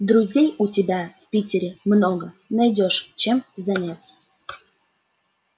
друзей у тебя в питере много найдёшь чем заняться